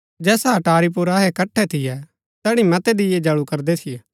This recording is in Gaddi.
जैसा अटारी पुर अहै इकट्ठै थियै तैड़ी मतै दीये जळू करदै थियै